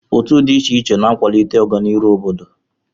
Otu dị iche iche na-akwalite ọganihu obodo.